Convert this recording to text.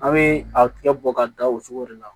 An bɛ a tigɛ bɔ ka da o cogo de la